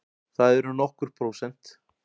Það eru nokkur prósent.